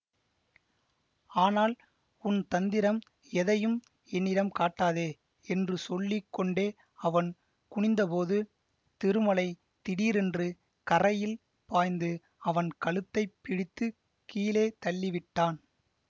ஆனால் உன் தந்திரம் எதையும் என்னிடம் காட்டாதே என்று சொல்லி கொண்டே அவன் குனிந்தபோது திருமலை திடீரென்று கரையில் பாய்ந்து அவன் கழுத்தைப் பிடித்து கீழே தள்ளிவிட்டான்